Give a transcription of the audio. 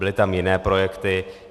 Byly tam jiné projekty.